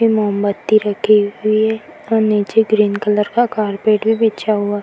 ये मोमबत्ती रखी हुई है और नीचे ग्रीन कलर का कार्पेट भी बिछा हुआ --